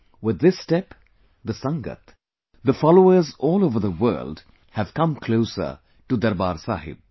With this step, the Sangat, the followers all over the world have come closer to Darbaar Sahib